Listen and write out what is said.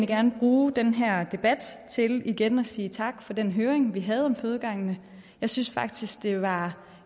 gerne bruge den her debat til igen at sige tak for den høring vi havde om fødegangene jeg synes faktisk det var